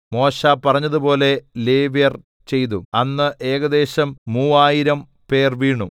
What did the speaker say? മോശെ പറഞ്ഞതുപോലെ ലേവ്യർ ചെയ്തു അന്ന് ഏകദേശം മൂവായിരം 3000 പേർ വീണു